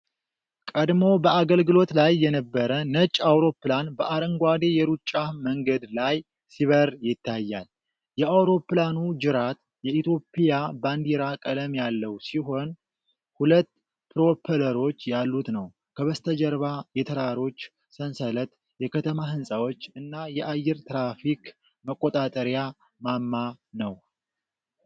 ቀድሞ በአገልግሎት ላይ የነበረ ነጭ አውሮፕላን በአረንጓዴ የሩጫ መንገድ ላይ ሲበር ይታያል። የአውሮፕላኑ ጅራት የኢትዮጵያ ባንዲራ ቀለም ያለው ሲሆን፣ ሁለት ፕሮፐለሮች ያሉት ነው። ከበስተጀርባ የተራሮች ሰንሰለት፣ የከተማ ሕንፃዎች እና የአየር ትራፊክ መቆጣጠሪያ ማማ ነው።